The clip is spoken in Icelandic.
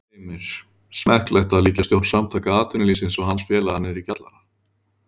Heimir: Smekklegt að líkja stjórn Samtaka atvinnulífsins og hans félaga niðri í kjallara?